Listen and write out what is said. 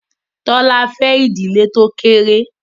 Tola fè ìdílé tó kékeré.